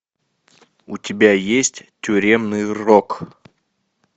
у тебя есть тюремный рок